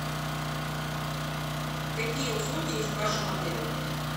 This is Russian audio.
какие услуги есть в вашем отеле